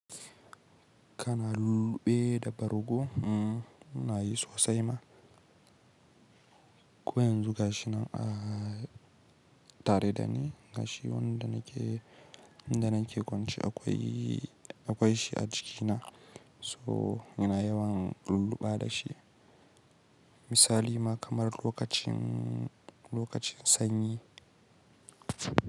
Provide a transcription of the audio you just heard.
Kana lulluɓe da bargo? Mm, ina yi sosai ma. Ko yanzu gashi nan a tare da ni, ga shi wanda nake kwance akwai shi a jikina, so ina yawan lulluɓa da shi. Misali ma kamar lokacin, lokacin sanyi.